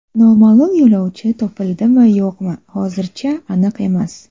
Noma’lum yo‘lovchi topildimi yo‘qmi hozirchi aniq emas.